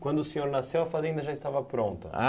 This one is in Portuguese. Quando o senhor nasceu, a fazenda já estava pronta?